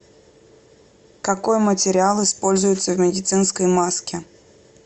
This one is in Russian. какой материал используется в медицинской маске